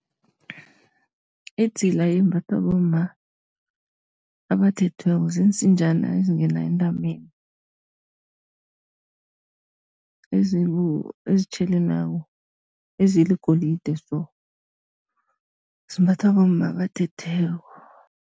Idzila imbathwa bomma abathethweko, ziinsinjana ezingenza entameni, ezitjhelelako, ezibugolide so. Zimbathwa bomma abathethweko.